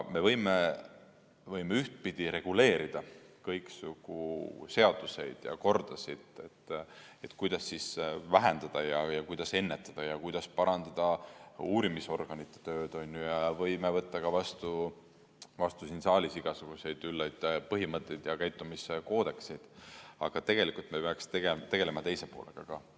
Me võime ühtpidi reguleerida kõiksugu seaduseid ja kordasid, kuidas vähendada ja kuidas ennetada ja kuidas parandada uurimisorganite tööd, ja võime võtta vastu ka siin saalis igasuguseid üllaid põhimõtteid ja käitumiskoodekseid, aga tegelikult me peaks tegelema teise poolega ka.